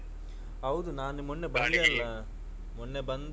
ಹೌದು ನಾನು ಮೊನ್ನೆ ಅಲ್ಲಾ ಮೊನ್ನೆ ಬಂದು.